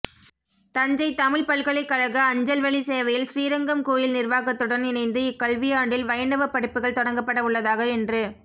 தஞ்சை தமிழ்ப் பல்கலைக்கழக அஞ்சல்வழி சேவையில் ஸ்ரீரங்கம் கோயில் நிர்வாகத்துடன் இணைந்து இக்கல்வியாண்டில் வைணவப் படிப்புகள் தொடங்கப்பட உள்ளதாக என்று